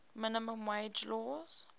minimum wage laws